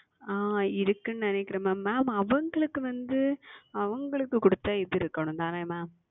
ஆஹ் இருக்கிறது என்று நினைக்கிறன் Mam mam அவங்களுக்கு வந்து அவங்களுக்கு கொடுத்த இது இருக்கனும் தானே Mam